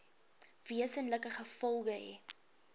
wesenlike gevolge hê